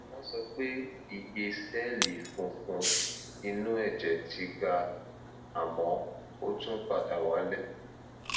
wọn sọ pé iye sẹẹlì funfun inú ẹjẹ ti ga àmọ ó tún padà wálẹ